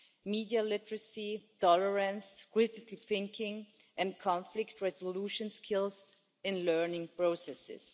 media literacy, tolerance, critical thinking and conflict resolution skills in learning processes.